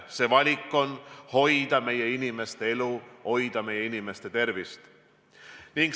See valik on hoida meie inimeste elu, hoida meie inimeste tervist.